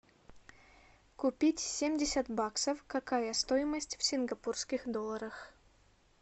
купить семьдесят баксов какая стоимость в сингапурских долларах